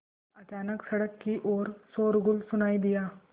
अचानक सड़क की ओर शोरगुल सुनाई दिया